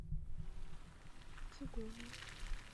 кигома